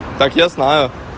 так я знаю